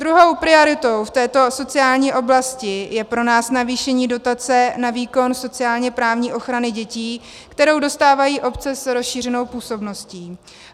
Druhou prioritou v této sociální oblasti je pro nás navýšení dotace na výkon sociálně-právní ochrany dětí, kterou dostávají obce s rozšířenou působností.